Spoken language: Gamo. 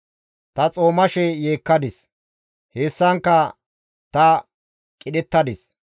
Ta xoomashe yeekkadis; hessankka ta qidhettadis.